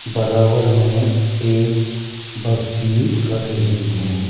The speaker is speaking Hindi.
बराबर में एक बस भी खड़ी हुईं है।